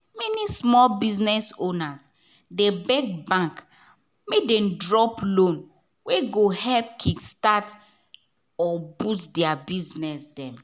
many small biz owners dey beg bank make dem drop loan wey go help kick-start or boost their business.